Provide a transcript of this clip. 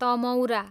तमौरा